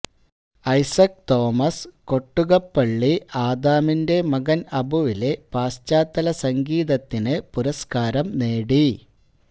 ഐസക് തോമസ് കൊട്ടുകപ്പള്ളി ആദാമിന്റെ മകന് അബുവിലെ പശ്ചാത്തസംഗീതത്തിന് പുരസ്കാരം നേടി